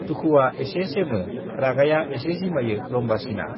दुखुवा एसे सेमो, रागाया एसे जिमायो रम्बासीना।